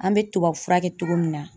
An bɛ tubabu furakɛ cogo min na